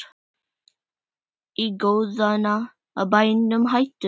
Í guðanna bænum hættu